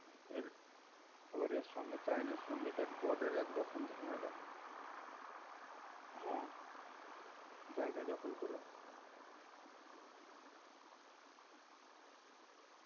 এর... আবার এর সঙ্গে China এর সঙ্গে দেখ border এ এক রকম ঝামেলা জায়গা দখল করে.